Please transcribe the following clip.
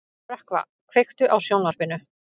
Rökkva, kveiktu á sjónvarpinu.